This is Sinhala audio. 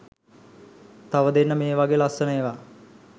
තව දෙන්න මේ වගෙ ලස්සන ඒවා